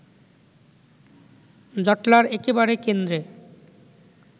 জটলার একেবারে কেন্দ্রে